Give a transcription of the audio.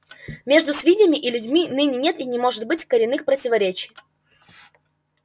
между свиньями и людьми ныне нет и не может быть коренных противоречий